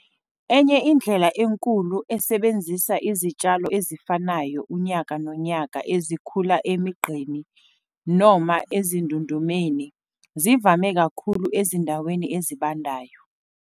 Enye indlela enkulu, esebenzisa izitshalo ezifanayo unyaka nonyaka ezikhula emigqeni noma ezindundumeni, zivame kakhulu ezindaweni ezibandayo.